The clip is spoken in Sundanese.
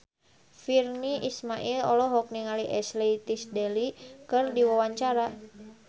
Virnie Ismail olohok ningali Ashley Tisdale keur diwawancara